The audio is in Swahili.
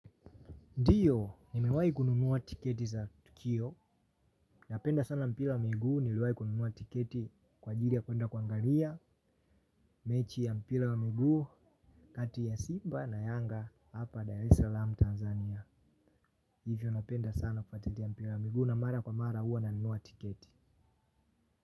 Ndiyo, nimewai kununua tiketi za tukio, napenda sana mpila wa miguu, niliwai kununua tiketi kwa ajili ya kwenda kuangalia, mechi ya mpila wa miguu, kati ya Simba na Yanga, hapa Dar es Salaam Tanzania, hivyo napenda sana kufuatilia mpila wa miguu na mara kwa mara uwa nanunua tiketi.